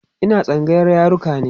Ina tsangayar yaruka ne